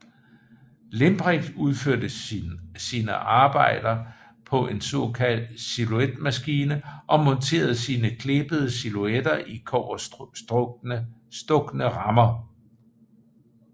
Limprecht udførte sine arbejder på en såkaldt silhuetmaskine og monterede sine klippede silhuetter i kobberstukne rammer